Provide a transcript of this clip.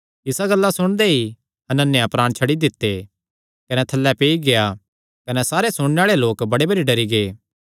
एह़ गल्लां सुणदे ई हनन्याह प्राण छड्डी दित्ते कने थल्लैं पेई गेआ कने सारे सुणने आल़ेआं लोक बड़े भरी डरी गै